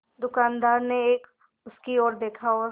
दुकानदार ने उसकी ओर देखा और